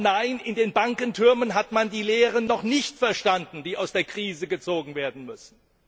Nein, in den Bankentürmen hat man die Lehren noch nicht verstanden, die aus der Krise gezogen werden müssen.